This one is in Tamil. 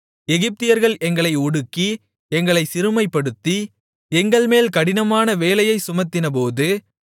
எகிப்தியர்கள் எங்களை ஒடுக்கி எங்களைச் சிறுமைப்படுத்தி எங்கள்மேல் கடினமான வேலையைச் சுமத்தினபோது